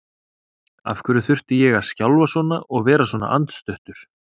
Af hverju þurfti ég að skjálfa svona og vera svona andstuttur?